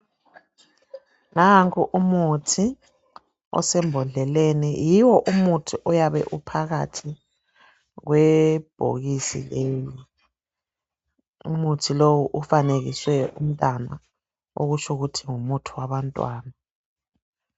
Nanku umuthi osembodleleni, yiwo umuthi oyabe uphakathi kwebhokisi leli, umuthi lowu ufanekiswe umntwana okutsho ukuthi ngumuthi wabantwana.